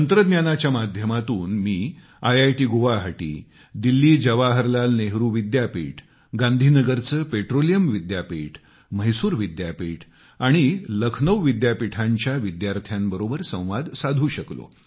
तंत्रज्ञानाच्या माध्यमातून मी आयआयटी गुवाहाटी दिल्ली जवाहरलाल नेहरू विद्यापीठ गांधी नगरचे पेट्रोलियम विद्यापीठम्हैसूर विद्यापीठ आणि लखनौ विद्यापीठांच्या विद्यार्थ्यांबरोबर संवाद साधू शकलो